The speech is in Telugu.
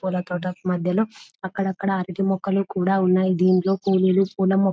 పూల తోట మధ్యలో అక్కడక్కడ అరటి మొక్కలు కూడా ఉన్నాయి దీనిలో పువ్వులు పూల మొ --